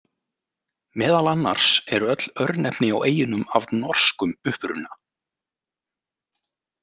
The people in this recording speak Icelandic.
Meðal annars eru öll örnefni á eyjunum af norskum uppruna.